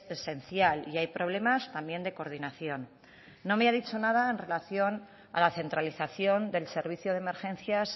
esencial y hay problemas también de coordinación no me ha dicho nada en relación a la centralización del servicio de emergencias